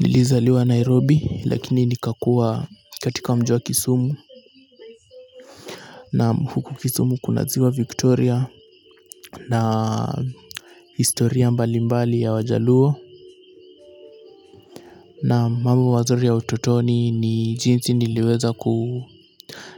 Nilizaliwa Nairobi lakini nikakua katika mji wa Kisumu na huku Kisumu kuna ziwa Victoria na historia mbali mbali ya wajaluo na mambo mazuri ya utotoni ni jinsi niliweza